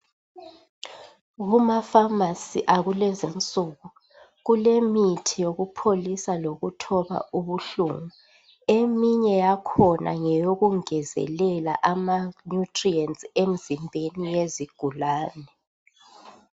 Kumafamasi akulezinsuku kulemithi yokupholisa lokuthoba ubuhlungu. Eminye yakhona ngeyikungezelela amanyutiriyenti emzimbeni yezigulane.